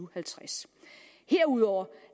og halvtreds herudover